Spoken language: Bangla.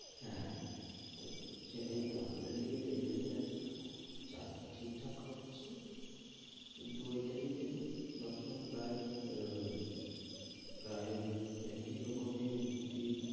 হ্যাঁ, তো সেটাই তো আমাদের দিকে এটাই আছে চাষটা ঠিকঠাক হচ্ছে কিন্তু ওটাই যে সবসময় প্রায় আহ প্রায় একই রকমই কি,